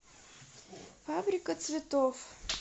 фабрика цветов